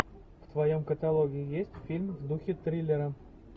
в твоем каталоге есть фильм в духе триллера